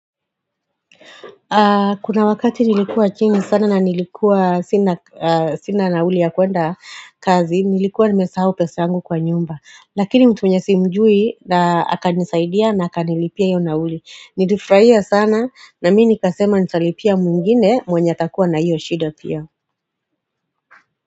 Kuna wakati nilikuwa chini sana na nilikuwa sina nauli ya kwenda kazi nilikuwa nimesahau pesa yangu kwa nyumba lakini mtu mwenye simjui na aka nisaidia na aka nilipia hio nauli nilifurahia sana na mi nika sema nitalipia mwingine mwenye atakuwa na hiyo shido pia.